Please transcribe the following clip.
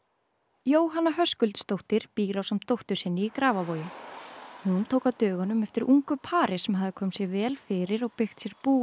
Jóhanna Höskuldsdóttir býr ásamt dóttur sinni í Grafarvogi hún tók á dögunum eftir ungu pari sem hafði komið sér vel fyrir og byggt sér bú í